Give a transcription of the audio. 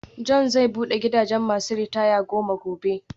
John's zai bude gidajen masu ritaya goma gobe.